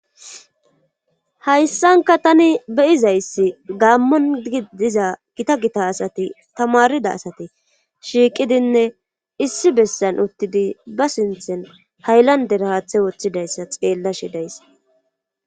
Hayssanka tani beyizayssi gaammon gidiza gita gita asati tamarida asati shiiqidinne issi bessan uttidi ba sinthin hayllander haathe woththidayssa xeella shidayssa.